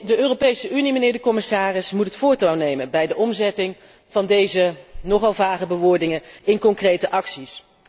De Europese Unie, mijnheer de commissaris, moet het voortouw nemen bij de omzetting van deze nogal vage bewoordingen in concrete acties.